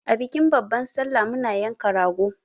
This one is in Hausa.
A bikin babban sallah muna yanka rago.